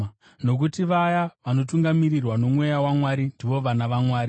nokuti vaya vanotungamirirwa noMweya waMwari ndivo vana vaMwari.